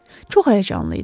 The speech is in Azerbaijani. Çox həyəcanlı idi.